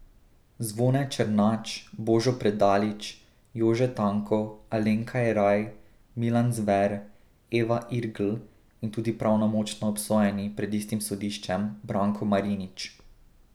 Zvone Černač, Božo Predalič, Jože Tanko, Alenka Jeraj, Milan Zver, Eva Irgl in tudi pravnomočno obsojeni pred istim sodiščem Branko Marinič.